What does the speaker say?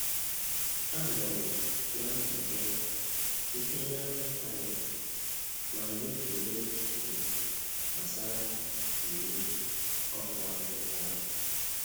Anọ m na nzukọ site na ịntanetị ma nyefere echiche m gbasara iwu ọkụ a tụrụ aro.